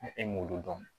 E m'olu dɔn